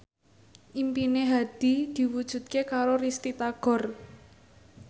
impine Hadi diwujudke karo Risty Tagor